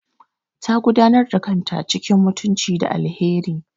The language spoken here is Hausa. Ta gudanar da kanta cikin mutunci da alheri.